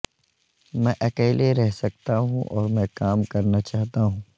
میں اکیلے رہ سکتا ہوں اور میں کام کرنا چاہتا ہوں